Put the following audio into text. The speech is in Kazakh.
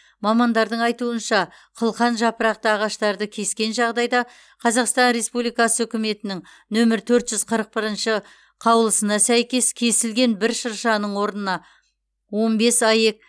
мамандардың айтуынша қылқанжапырақты ағаштарды кескен жағдайда қазақстан республикасы үкіметінің нөмірі төрт жүз қырық бірінші қаулысына сәйкес кесілген бір шыршаның орнына он бес аек